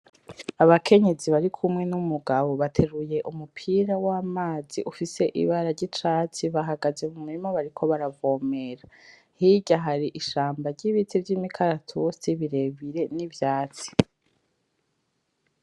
Abakenyezi barikumwe n’umugabo bateruye umupira w’amazi ufise ibara ry’icatsi, bahagaze mu murima bariko baravomera , hirya hari ishamba ry’ibiti vy’imikaratusi birebire n’ivyatsi .